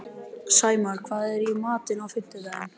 Sæmar, hvað er í matinn á fimmtudaginn?